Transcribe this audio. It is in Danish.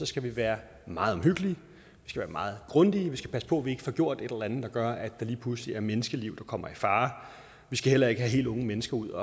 skal vi være meget omhyggelige meget grundige og passe på at vi ikke får gjort et eller andet der gør at der lige pludselig er menneskeliv der kommer i fare vi skal heller ikke have helt unge mennesker ud